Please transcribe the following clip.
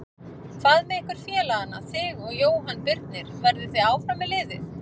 Hvað með ykkur félagana þig og Jóhann Birnir, verðið þið áfram með liðið?